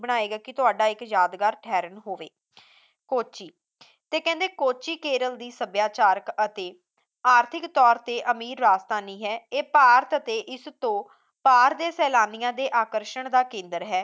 ਬਣਾਏਗਾ ਕਿ ਤੁਹਾਡਾ ਇੱਕ ਯਾਦਗਾਰ ਠਹਿਰਨ ਹੋਵੇ ਕੋੱਚੀ ਤੇ ਕਹਿੰਦੇ ਕੋੱਚੀ ਕੇਰਲ ਦੀ ਸਭਿਆਚਾਰਕ ਅਤੇ ਆਰਥਿਕ ਤੌਰ ਤੇ ਅਮੀਰ ਰਾਜਧਾਨੀ ਹੈ ਇਹ ਭਾਰਤ ਅਤੇ ਇਸ ਤੋਂ ਪਾਰ ਦੇ ਸੈਲਾਨੀਆਂ ਦੇ ਆਕਰਸ਼ਣ ਦਾ ਕੇਂਦਰ ਹੈ